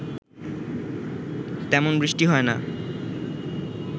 তেমন বৃষ্টি হয় না